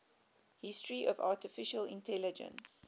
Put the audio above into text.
history of artificial intelligence